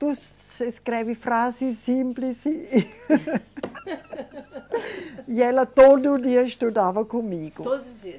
Tu se escreve frases simples e. E ela todo dia estudava comigo. Todos os dias?